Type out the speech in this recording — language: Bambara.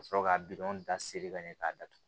Ka sɔrɔ ka da seri ka ɲɛ k'a datugu